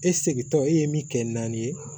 E segintɔ e ye min kɛ naani ye